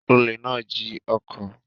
Olè náà jí ọkọ̀.